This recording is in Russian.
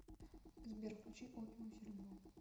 сбер включи опиум серебро